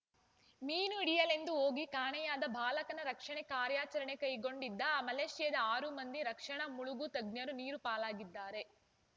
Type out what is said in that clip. ಮೀನು ಹಿಡಿಯಲೆಂದು ಹೋಗಿ ಕಾಣೆಯಾದ ಬಾಲಕನ ರಕ್ಷಣೆ ಕಾರ್ಯಾಚರಣೆ ಕೈಗೊಂಡಿದ್ದ ಮಲೇಷ್ಯಾದ ಆರು ಮಂದಿ ರಕ್ಷಣಾ ಮುಳುಗು ತಜ್ಞರು ನೀರು ಪಾಲಾಗಿದ್ದಾರೆ